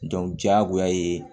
diyagoya ye